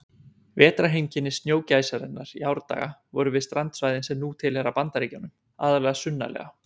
Vetrarheimkynni snjógæsarinnar í árdaga voru við strandsvæðin sem nú tilheyra Bandaríkjunum, aðallega sunnarlega.